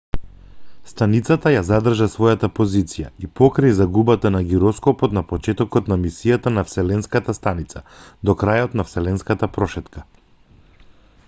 станицата ја задржа својата позиција и покрај загубата на гироскопот на почетокот на мисијата на вселенската станица до крајот на вселенската прошетка